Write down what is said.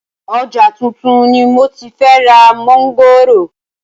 Ọjà tuntun ni moti fẹ́ ra mọ̀ngòrò